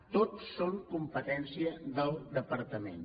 tots són competència del departament